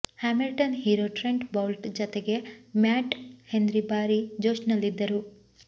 Hamilton hero Trent Boult ಜತೆಗೆ Matt Henry ಭಾರೀ ಜೋಶ್ನಲ್ಲಿದ್ದರು